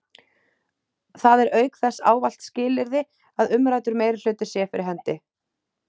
Það er auk þess ávallt skilyrði að umræddur meirihluti sé fyrir hendi.